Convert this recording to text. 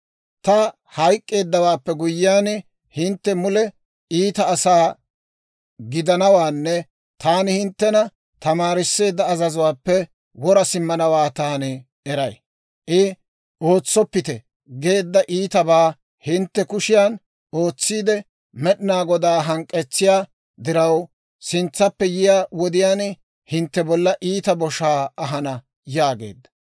Ta hayk'k'eeddawaappe guyyiyaan, hintte mule iita asaa gidanawaanne taani hinttena tamaarisseedda azazuwaappe wora simmanawaa taani eray. I ootsoppite geedda iitabaa hintte kushiyan ootsiide, Med'inaa Godaa hank'k'etsiyaa diraw, sintsaappe yiyaa wodiyaan hintte bolla iita boshaa ahana» yaageedda.